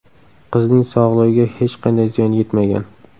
Qizning sog‘lig‘iga hech qanday ziyon yetmagan.